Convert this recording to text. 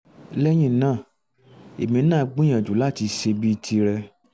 lẹ́yìn náà èmi náà á gbìyànjú láti ṣe bíi tirẹ̀